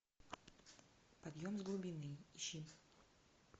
подъем с глубины ищи